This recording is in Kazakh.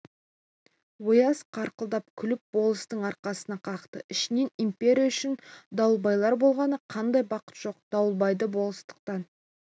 ояз қарқылдап күліп болыстың арқасынан қақты ішінен империя үшін дауылбайлар болғаны қандай бақыт жоқ дауылбайды болыстықтан